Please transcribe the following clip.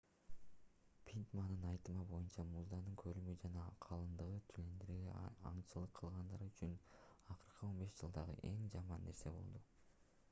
питтмандын айтымы боюнча муздун көлөмү жана калыңдыгы тюлендерге аңчылык кылгандар үчүн акыркы 15 жылдагы эң жаман нерсе болду